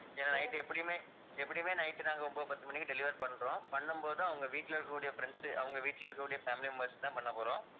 ஏன்னா night எப்படியுமே, எப்படியுமே night நாங்க ஒன்பது, பத்து மணிக்கு deliver பண்றோம். பண்ணும்போது அவங்க வீட்டுல இருக்கக்கூடிய friends உ அவங்க வீட்டுல இருக்கக்கூடிய family members க்கு தான் பண்ணப்போறோம்